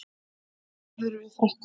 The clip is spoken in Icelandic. En hvað gerðirðu við frakkann?